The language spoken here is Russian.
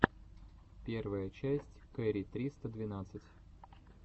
первая часть кэрри триста двенадцать